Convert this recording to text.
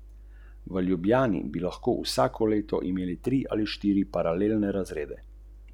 Zakaj se je potem sploh pogajal?